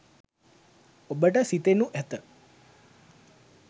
ඔබට සිතෙනු ඇත.